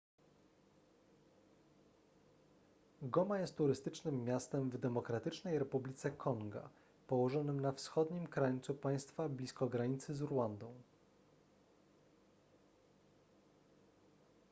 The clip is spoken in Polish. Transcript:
goma jest turystycznym miastem w demokratycznej republice konga położonym na wschodnim krańcu państwa blisko granicy z rwandą